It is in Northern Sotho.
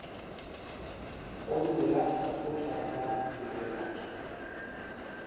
pono ya lekgotla la netefatšo